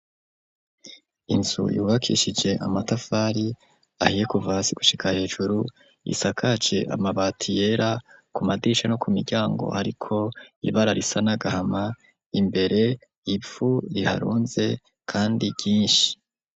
Inzu yubakishije amatafari ahiye kuva hasi gushika hejuru, isakaje amabati yera, ku madirisha no ku miryango hariko ibara risa n'agahama, imbere ivu riharunze kandi ryinshi.